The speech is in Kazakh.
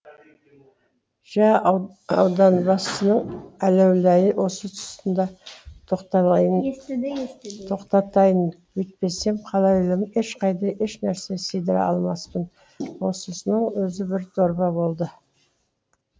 жә ауданбасының әләуләйін осы тұсында тоқтатайын бүйтпесем хәләуләйін ешқайда ешнәрсе сыйдыра алмаспын осынысының өзі бір дорба болды